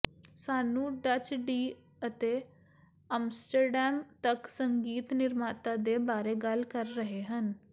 ਸਾਨੂੰ Dutch D ਅਤੇ Amsterdam ਤੱਕ ਸੰਗੀਤ ਨਿਰਮਾਤਾ ਦੇ ਬਾਰੇ ਗੱਲ ਕਰ ਰਹੇ ਹਨ